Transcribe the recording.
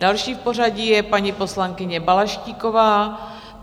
Další v pořadí je paní poslankyně Balaštíková.